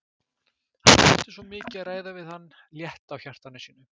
Hann þurfti svo mikið að ræða við hann, létta á hjarta sínu.